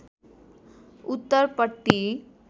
उत्तर पट्टि